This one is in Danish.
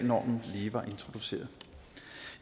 normen lige var introduceret